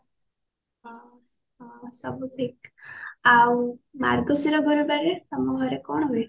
ହଁ ହଁ ସବୁ ଠିକ ଆଉ ମାର୍ଗଶିର ଗୁରୁବାରରେ ତମ ଘରେ କଣ ହୁଏ?